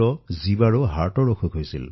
তেওঁৰ ২৭ বছৰীয়া সন্তান জীৱাৰো হৃদৰোগ আছিল